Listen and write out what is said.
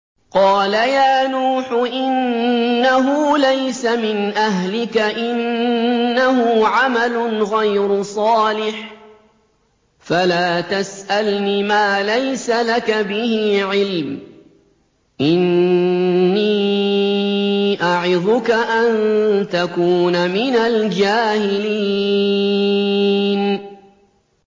قَالَ يَا نُوحُ إِنَّهُ لَيْسَ مِنْ أَهْلِكَ ۖ إِنَّهُ عَمَلٌ غَيْرُ صَالِحٍ ۖ فَلَا تَسْأَلْنِ مَا لَيْسَ لَكَ بِهِ عِلْمٌ ۖ إِنِّي أَعِظُكَ أَن تَكُونَ مِنَ الْجَاهِلِينَ